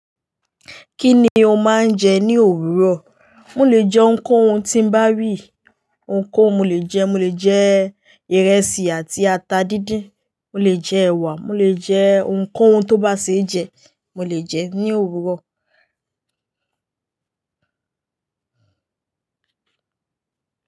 Kí ni o máa ń jẹ ní òwúrọ̀? Mo lè jẹ ohun kohun tí ń bá ri, ohun kóhun mo lè jẹ, mo lè jẹ ìrẹsì àti ata díndín, mo lè jẹ ẹwà, mo lè jẹ ohun kó ohun tó bá ṣe jẹ, mo lè jẹ ní òwúrọ̀.